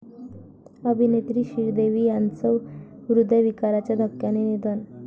अभिनेत्री श्रीदेवी यांचं हृदयविकाराच्या धक्क्याने निधन